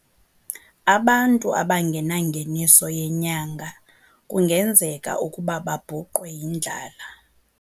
Abantu abangenangeniso yenyanga kungenzeka ukuba babhuqwe yindlala.